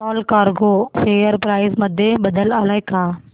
Allcargo share price मध्ये बदल आलाय का